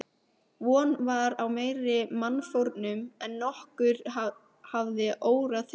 Von var á meiri mannfórnum en nokkurn hafði órað fyrir.